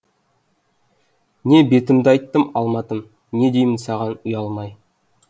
не бетімді айттым алматым не деймін саған ұялмай